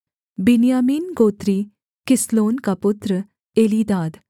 बिन्यामीनगोत्री किसलोन का पुत्र एलीदाद